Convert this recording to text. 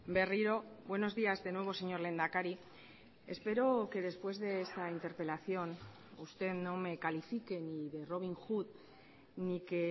berriro buenos días de nuevo señor lehendakari espero que después de esta interpelación usted no me califique ni de robin hood ni que